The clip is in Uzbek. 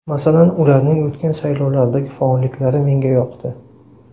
Masalan, ularning o‘tgan saylovlardagi faolliklari menga yoqdi.